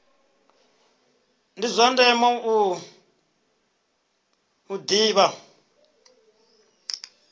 ndi zwa ndeme u ḓivha